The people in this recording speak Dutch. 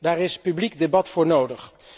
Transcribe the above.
Daar is een publiek debat voor nodig.